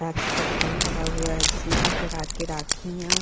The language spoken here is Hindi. राखी का दुकान लगा हुआ है जिसमें हर प्रकार की राखियॉँ --